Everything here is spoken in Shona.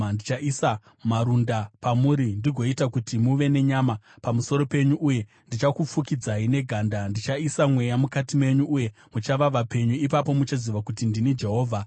Ndichaisa marunda pamuri ndigoita kuti muve nenyama pamusoro penyu uye ndichakufukidzai neganda; ndichaisa mweya mukati menyu uye muchava vapenyu. Ipapo muchaziva kuti ndini Jehovha.’ ”